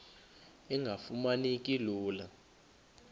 engafuma neki lula